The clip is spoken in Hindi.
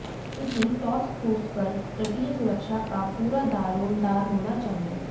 इसी टॉस्क फोर्स पर तटीय सुरक्षा का पूरा दारोमदार होना चाहिए